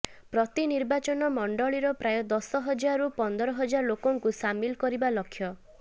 ପ୍ରତି ନିର୍ବାଚନ ମଣ୍ଡଳୀର ପ୍ରାୟ ଦଶ ହଜାରରୁ ପନ୍ଦର ହଜାର ଲୋକଙ୍କୁ ସାମିଲ କରିବା ଲକ୍ଷ୍ୟ